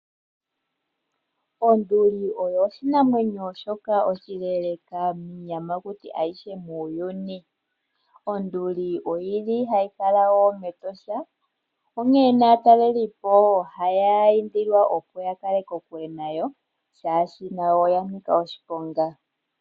Onduli oyo oshinamwenyo shoka oshileeleka kiiyamakuti ayihe muuyuni. Onduli oyili hayi kala wo mEtosha onkene aatalelipo otaya indilwa opo ya kale kokule nayo shaashi nayo oya nika oshiponga.